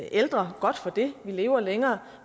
ældre godt for det vi lever længere